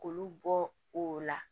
K'olu bɔ o la